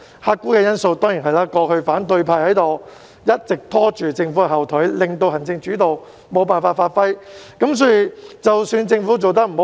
客觀因素當然是反對派過去一直拖政府後腿，令政府無法發揮行政主導。